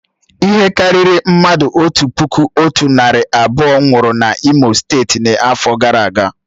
Ihe karịrị mmadụ otu puku otu narị abụọ nwụrụ na imo steeti n'afọ gara aga